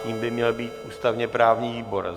Tím by měl být ústavně-právní výbor.